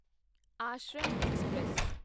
Ashram express